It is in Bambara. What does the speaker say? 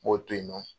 N b'o to yen nɔ